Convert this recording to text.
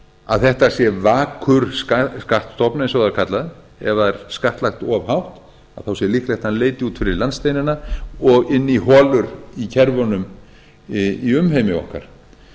að þetta sé vakur skattstofn eins og það er kallað ef það er skattlagt of hátt sé líklegt að hann leiti út fyrir landsteinana og inn í holur í kerfunum í umheimi okkar